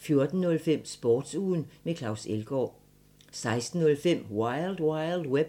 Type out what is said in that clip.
14:05: Sportsugen med Claus Elgaard 16:05: Wild Wild Web